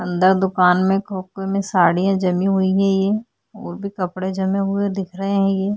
अंदर दुकान में खोकके में साड़ियाँ जमी हुई है ये और भी कपडे जमे हुए दिख रहे है ये।